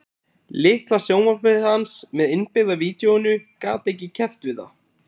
Litla sjónvarpið hans með innbyggða vídeóinu gat ekki keppt við það